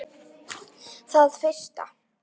Það fyrsta.